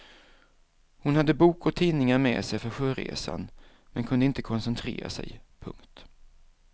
Hon hade bok och tidningar med sig för sjöresan men kunde inte koncentrera sig. punkt